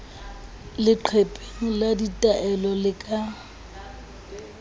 leqepheng la ditaelo le ka